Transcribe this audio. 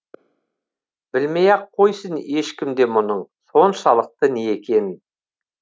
білмей ақ қойсын ешкім де мұның соншалықты не екенін